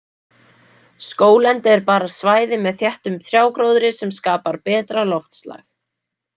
Skóglendi er bara svæði með þéttum trjágróðri sem skapar betra loftslag